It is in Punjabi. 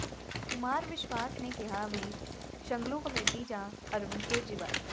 ਕੁਮਾਰ ਵਿਸ਼ਵਾਸ ਨੇ ਕਿਹਾ ਵੀ ਸ਼ੁੰਗਲੂ ਕਮੇਟੀ ਜਾਂ ਅਰਵਿੰਦ ਕੇਜਰੀਵਾਲ